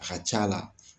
A ka c'a la